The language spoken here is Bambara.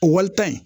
O walita in